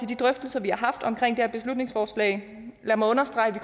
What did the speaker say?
de drøftelser vi har haft om det her beslutningsforslag lad mig understrege at